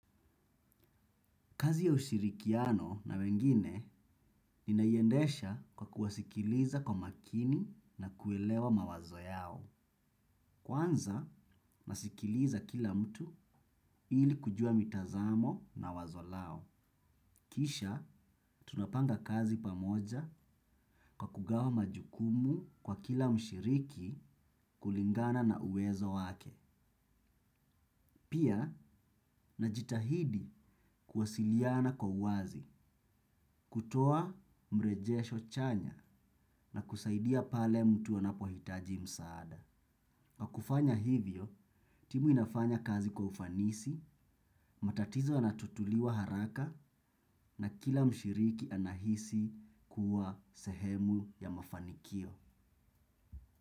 Kazi ya ushirikiano na wengine ninaiendesha kwa kuwasikiliza kwa makini na kuielewa mawazo yao. Kwanza, nasikiliza kila mtu ili kujua mitazamo na wazo lao. Kisha, tunapanga kazi pamoja kwa kugawa majukumu kwa kila mshiriki kulingana na uwezo wake. Pia, najitahidi kuwasiliana kwa uwazi, kutoa mrejesho chanya na kusaidia pale mtu anapohitaji msaada. Kwa kufanya hivyo, timu inafanya kazi kwa ufanisi, matatizo yanatatuliwa haraka na kila mshiriki anahisi kuwa sehemu ya mafanikio.